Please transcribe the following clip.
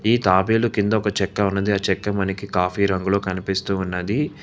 ఈ తాబేలు కింద ఒక చెక్క ఉన్నది ఆ చెక్క మనకి కాఫీ రంగులో కనిపిస్తూ ఉన్నది.